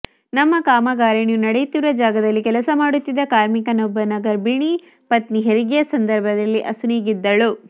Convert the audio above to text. ನಮ್ಮ ಕಾಮಗಾರಿಯು ನಡೆಯುತ್ತಿರುವ ಜಾಗದಲ್ಲಿ ಕೆಲಸ ಮಾಡುತ್ತಿದ್ದ ಕಾರ್ಮಿಕನೊಬ್ಬನ ಗರ್ಭಿಣಿ ಪತ್ನಿ ಹೆರಿಗೆಯ ಸಂದರ್ಭದಲ್ಲಿ ಅಸುನೀಗಿದ್ದಳು